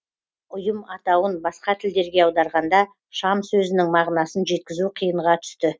ұйым атауын басқа тілдерге аударғанда шам сөзінің мағынасын жеткізу қиынға түсті